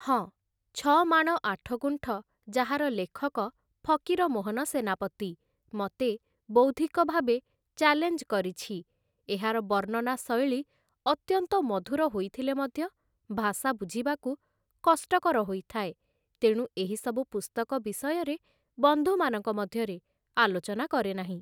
ହଁ, 'ଛଅମାଣ ଆଠଗୁଣ୍ଠ' ଯାହାର ଲେଖକ ଫକୀର ମୋହନ ସେନାପତି ମତେ ବୌଦ୍ଧିକ ଭାବେ ଚ୍ୟାଲେଞ୍ଜ କରିଛି ଏହାର ବର୍ଣ୍ଣନା ଶୈଳୀ ଅତ୍ୟନ୍ତ ମଧୁର ହୋଇଥିଲେ ମଧ୍ୟ ଭାଷା ବୁଝିବାକୁ କଷ୍ଟକର ହୋଇଥାଏ ତେଣୁ ଏହିସବୁ ପୁସ୍ତକ ବିଷୟରେ ବନ୍ଧୁମାନଙ୍କ ମଧ୍ୟରେ ଆଲୋଚନା କରେ ନାହିଁ ।